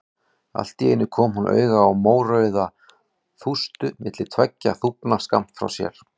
Allt í einu kom hún auga á mórauða þústu milli tveggja þúfna skammt frá sér.